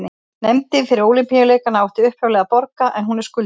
Nefndin fyrir Ólympíuleikana átti upphaflega að borga en hún er skuldug.